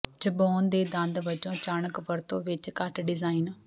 ਚਬਾਉਣ ਦੇ ਦੰਦ ਵਜੋਂ ਅਚਾਨਕ ਵਰਤੋਂ ਵਿਚ ਘੱਟ ਡਿਜ਼ਾਈਨ